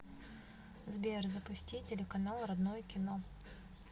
сбер запусти телеканал родное кино